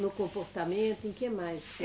No comportamento, em que mais?